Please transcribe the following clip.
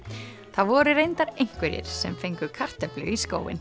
það voru reyndar einhverjir sem fengu kartöflu í skóinn